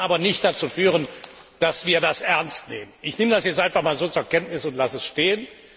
Das kann aber nicht dazu führen, dass wir das ernst nehmen. Ich nehme das jetzt einmal einfach so zur Kenntnis und lasse es stehen.